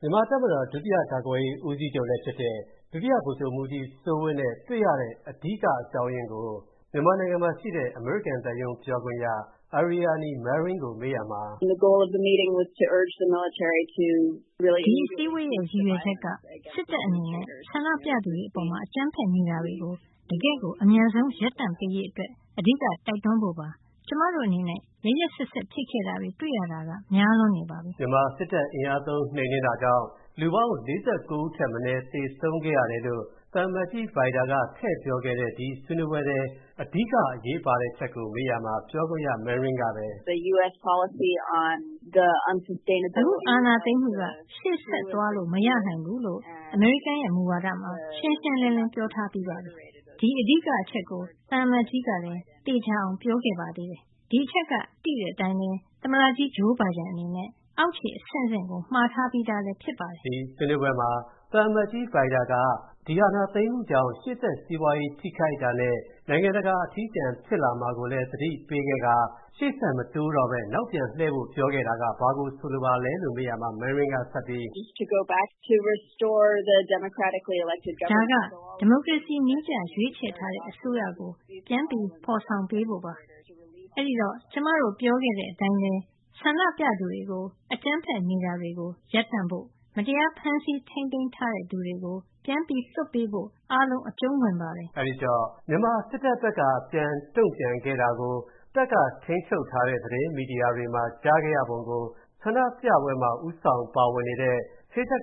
မြန်မာတပ်မတော် ဒုတိယကာကွယ်ရေးဦးစီးချုပ်လည်းဖြစ်တဲ့ ဒုတိယဗိုလ်ချုပ်မူးကြီးစိုးဝင်းကို တွေ့ရတဲ့ အဓိကအကြောင်းရင်းကို မြန်မာနိုင်ငံရှိ အမေရိကန်သံရုံးပြောခွင့်ရ Aryani Manring က “ဒီအစည်းအဝေးရဲ့ ရည်ရွယ်ချက်က စစ်တပ်အနေနဲ့ ဆန္ဒပြသူတွေအပေါ် အကြမ်းဖက်နေတာတွေကို တကယ့်ကို အမြန်ဆုံး ရပ်တန့်ပေးရေး အဓိက တိုက်တွန်းဖို့ပါ။ ကျွန်မတို့အနေနဲ့ ရက်ရက်စက်စက်ဖြစ်ခဲ့တာတွေ တွေ့ရတာများလွန်းနေပါပြီ။” မြန်မာနိုင်ငံစစ်တပ် အင်အားသုံးနှိမ်နှင်းနေတာကြောင့် လူပေါင်း ၄၉ဦးထက်မနည်းသေဆုံးခဲ့ရတယ်လို့ သံအမတ်ကြီး Vajda က ထည့်ပြောခဲ့တဲ့ ဒီဆွေးနွေးပွဲထဲ အဓိကအရေးပါတဲ့အချက်ကိုမေးရာမှာ ပြောခွင့်ရ Manring ကပဲ “အခု အာဏာသိမ်းမူက ရှေ.ဆက်သွားလို့မရနိုင်ဘူးလို့ အမေရိကန်ရဲ့ မူဝါဒမှာ ရှင်းရှင်းလင်းလင်း ပြောထားပြီးပါပြီ။ ဒီအဓိကအချက်ကို သံအမတ်ကြီး ကလည်း ထပ်သေချာအောင် ပြောခဲ့ ပါသေးတယ်။ ဒီအချက်က သိတဲ့အတိုင်း၊ သမ္မတကြီး Joe Biden အနေနဲ့ အောက်ခြေအဆင့်ဆင့်ကို မှာထားပြီးသားလဲဖြစ်ပါတယ်။” ဒီဆွေးနွေးပွဲမှာ သံအမတ်ကြီး Vajda က အာဏာသိမ်းမူကြောင့် ရှေ.ဆက် စီးပွားရေးထိခိုက်မူနဲ့ နိုင်ငံတကာ အထီးကျန်မူဖြစ်လာမှာကိုလည်း သတိပေးခဲ့ကာ၊ ရှေ.ဆက်မတိုးဘဲ၊ နောက်ပြန်လှည့်ဖို့ပြောခဲ့တာက ဘာကိုဆိုလိုပါလဲလို့မေးရာမှာ Manring ကဆက်ပြီး “ဒါက ဒီမိုကရေစီနည်းကျ ရွေးချယ်ထားတဲ့ အစိုးရကို ပြန်ဖော်ပေးဖို့ပါ။ အဲ့ဒီတော့ ကျွန်မတို့ စပြောခဲ့တဲအချက်တွေဖြစ်တဲ့ ဆန္ဒပြသူတွေကို အကြမ်းဖက်နေတာရပ်ဖို့ မတရားဖမ်းဆီး ထိန်းသိမ်းထားတဲ့သူတွေကို ပြန်လွှတ်ဖို့ အားလုံး အကြုံးဝင်ပါတယ်။” အခုလို မြန်မာစစ်တပ်ဘက်က ပြန်တုံ့ပြန်ခဲ့တာကို တပ်က ထိန်းချုပ်ထားတဲ့ သတင်းမီဒီယာတွေမှာ ကြားခဲ့ရပုံကို ဆန္ဒပြပွဲမှာ ဦးဆောင်ပါဝင်နေတဲ့ ကျော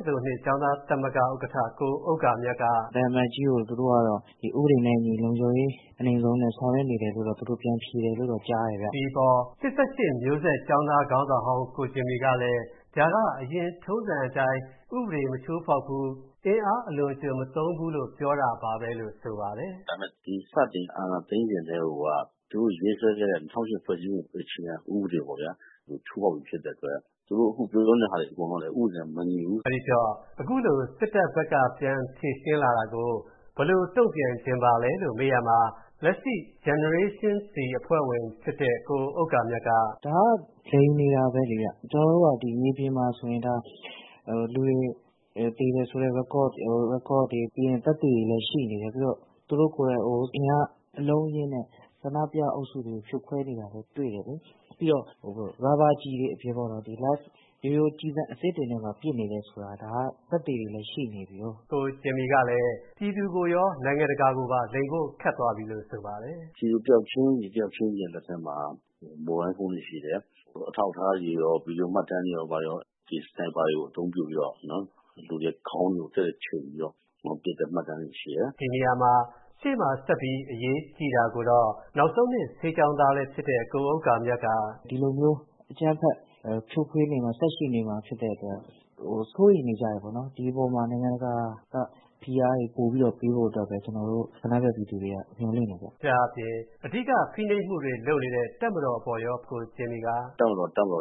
င်းသားသမဂ္ဂ ဥက္ကဌ ကိုဥဂ္ဂါမြတ် က “သံအမတ်ကြီးကို သူတို့ကတော့ ဥပဒေနဲ့အညီ လုံခြုံရေးအနိမ့်ဆုံးနဲ့ ဆောင်ရွက်နေတယ်လို့တော့ ပြန်ဖြေတယ်လို့တော့ ကြားတင်ခင်ဗျ။” ဒီအပေါ် ၈၈ မျိုးဆက် ကျောင်းသားခေါင်းဆောင်ဟောင်း ကိုဂျင်မီကလည်း ဒါက အရင်က ထုံးစံအတိုင်း ဥပဒေ မချိုးဖောက်ဘူး အင်အားအလွန်အကျွံ မသုံးဘူးလို့ ပြောတာပါပဲလို့ ဆိုပါတယ်။ “စတင် အာဏာသိမ်းစဉ်ကတည်းက သူတို့ ရေးဆွဲခဲ့တဲ့ ၂၀၀၈ အခြေခံဥပဒေ ကို ချိုးဖောက်ပြီးဖြစ်တယ် ။ သူတို့ အခုပြောနေတာ အကုန်လုံးကလည်း ဥပဒေနဲ့ မညီဘူး။” အဲဒီတော့ အခုလို စစ်တပ်ဘက်က ပြန်ဖြေရှင်းလာတာကို ဘယ်လို တုံ့ပြန်ချင်ပါသလဲလို့ မေးရာမှာ လက်ရှိ Generation Z ဖြစ်တဲ့ ကိုဥဂ္ဂါမြတ် က “ဒါကတော့ လိမ်နေတာပဲလေခင်ဗျ ကျနော်တို့ကတော့ မြေပြင်မှာဆိုရင် လူတွေ သေတဲ့ Record တွေလည်း သက်သေတွေလည်း ရှိနေတယ်။သူတို့ ကိုယ်တိုင် အင်အားအလုံးအရင်းနဲ့ ဆန္ဒပြအုပ်စုတွေကို ဖြိုခွဲနေတာလည်း တွေ့တယ်လေ ၊ ပြီးတော့ ရာဘာကျည်တွေလည်း မဟုတ်ပဲနဲ့ ကျည်ဆံအစစ်တွေနဲ့ ပစ်နေတယ် ဆိုတာက သက်သေတွေလည်း ရှိနေပြီ။” ကိုဂျင်မီကလည်း ပြည်သူကိုရော နိုင်ငံတကာကိုပါ လိမ်ဖို့ ခက်သွားပြီလို့ ဆိုပါတယ်။ “လူတယောက်ချင်းစီရဲ့လက်ထဲမှာ မိုဘိုင်းဖုန်းတွေရှိတယ် အထောက်အထားတွေရော ဗွီဒီယို မှတ်တမ်းတွေရော ဒီ စနိက်ပါတွေကို အသုံးပြုပြီးတော့ လူတွေခေါင်းကိုချိန်ပြီးတော့ ပစ်တဲ့မှတ်တမ်းတွေရှိတယ်။” ဒီနေရာမှာ ရှေ့မှာဆက်ပြီး အရေးကြီးတာကိုတော့ ဆေးတက္ကသိုလ် ၂ နောက်ဆုံးနှစ် ဆေးကျောင်းသားဖြစ်တဲ့ ကိုဥဂ္ဂါမြတ် က “ဒီလိုမျိုး အကျမ်းဖက် ဖြိုခွဲနေတာ ဆက်ရှိနေမှာဖြစ်တဲ့အတွက် စိုးရိမ်နေကြတယ်ပေါ့နော် ဒီအပေါ်မှာ နိုင်ငံတကာက ဖိအားတွေပေးဖို့အတွက်ပဲ ကျနော်တို့ ဆန္ဒပြ ပြည်သူတွေမျှော်လင့်တယ်ခင်ဗျ။” ဒါ့အပြင် ဖိနှိပ်မှုတွေလုပ်နေတဲ့ တပ်မတော်အပေါ်ကို ကိုဂျင်မီက “တပ်မတော် တပ်မတော်